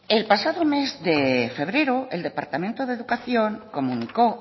el pasado mes de febrero el departamento de educación comunicó